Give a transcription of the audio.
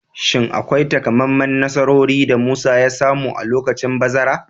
Shin akwai takamaiman nasarori da Musa ya samu a lokacin bazara?